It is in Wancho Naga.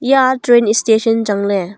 eya train station changley.